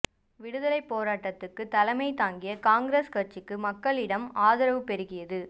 விடுதலைப் போராட்டத்துக்கு தலைமை தாங்கிய காங்கிரஸ் கட்சிக்கு மக்களிடம் ஆதரவு பெருகியது